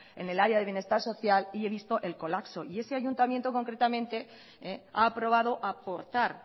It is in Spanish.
en el área de bienestar social y he visto el colapso y ese ayuntamiento concretamente ha aprobado aportar